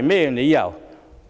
明理由。